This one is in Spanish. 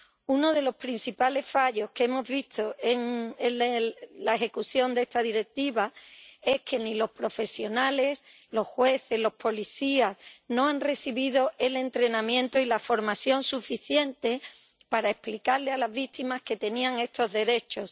Uno de los principales fallos que hemos visto en la aplicación de esta Directiva es que ni los profesionales, ni los jueces, ni los policías han recibido el entrenamiento y la formación suficientes para explicar a las víctimas que tenían estos derechos.